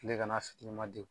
kile kana